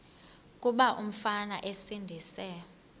kuba umfana esindise